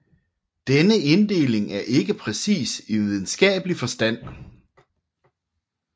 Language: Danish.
Denne inddeling er ikke præcis i videnskabelig forstand